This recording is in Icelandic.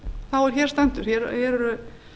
þá er hér stendur hér eru